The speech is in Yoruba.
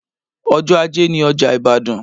Ọjọ́ ajé ni ọjà Ibadan